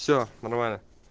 все нормально